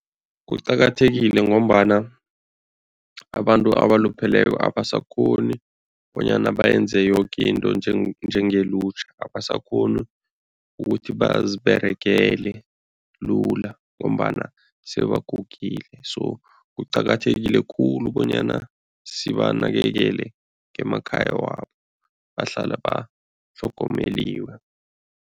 Kuqakathekile ngombana abantu abalupheleko abasakghoni bonyana bayenze yoke into njengelutjha, abasakghoni ukuthi baziberegele lula ngombana sebagugile so kuqakathekile khulu bonyana sibanakekele emakhaya wabo bahlale batlhogomeliwe.